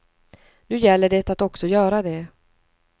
Nu gäller det att också göra det.